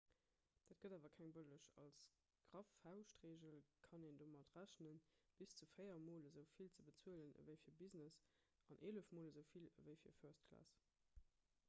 dat gëtt awer keng bëlleg als graff fauschtregel kann een domat rechnen bis zu véier mol esou vill ze bezuelen ewéi fir business an eelef mol esou vill ewéi fir first class